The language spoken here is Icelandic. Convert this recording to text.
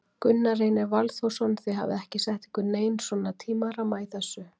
Gunnar Reynir Valþórsson: Þið hafið ekki sett ykkur neinn svona tímaramma í þessu?